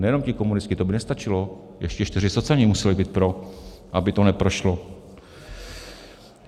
Nejenom ti komunisti, to by nestačilo, ještě čtyři socani museli být pro, aby to neprošlo.